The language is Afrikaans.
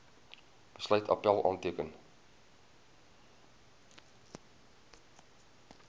besluit appèl aanteken